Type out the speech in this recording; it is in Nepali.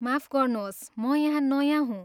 माफ गर्नुहोस्, म यहाँ नयाँ हुँ।